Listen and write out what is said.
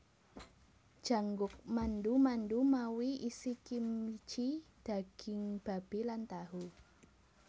Jangguk mandu mandu mawi isikimchi daging babi lan tahu